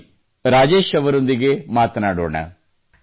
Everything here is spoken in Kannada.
ಬನ್ನಿ ರಾಜೇಶ್ ಅವರೊಂದಿಗೆ ಮಾತನಾಡೋಣ